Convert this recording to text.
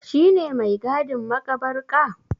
Shi ne mai gadin maƙabarka?